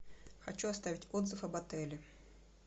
хочу оставить отзыв об отеле